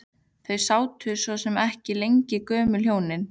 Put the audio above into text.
Þau sátu svo sem ekki lengi gömlu hjónin.